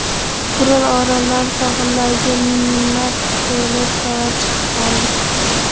Kuril orollari sohillariga minglab selyodkalar chiqib qoldi.